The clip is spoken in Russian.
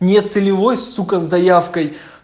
не целевой сука заявкой